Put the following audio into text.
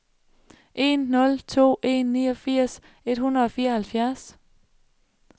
en nul to en niogfirs et hundrede og fireoghalvfjerds